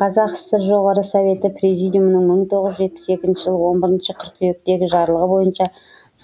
қазақ сср жоғарғы советі президиумының бір тоғыз жүз жетпіс екінші жылы оң бірінші қыркүйектегі жарлығы бойынша